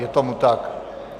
Je tomu tak.